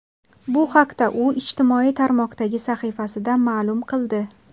Bu haqda u ijtimoiy tarmoqdagi sahifasida ma’lum qildi .